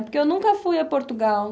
Porque eu nunca fui a Portugal.